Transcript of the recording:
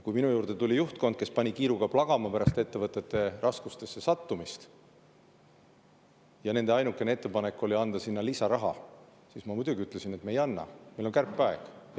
Kui minu juurde tuli juhtkond, kes pani kiiruga plagama pärast ettevõtte raskustesse sattumist, ja nende ainukene ettepanek oli anda sinna lisaraha, siis ma muidugi ütlesin, et me ei anna, sest meil on kärpeaeg.